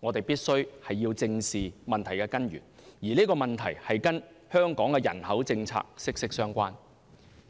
我們必須正視問題根源，而這個問題與香港人口政策息息相關，